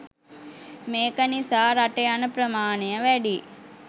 මේක නිසා රට යන ප්‍රමාණය වැඩියි